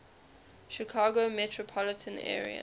chicago metropolitan area